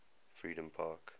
freedompark